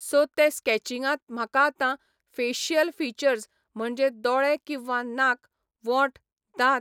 so ते स्कॅचिंगांत म्हाका आतां फेशियल फिचर्ज म्हणचे दोळे किंवा नाक, वोंट, दांत